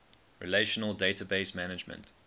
relational database management